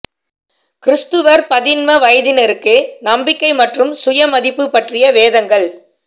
கிரிஸ்துவர் பதின்ம வயதினருக்கு நம்பிக்கை மற்றும் சுய மதிப்பு பற்றிய வேதங்கள்